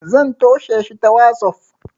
zan tosheshi ta wazof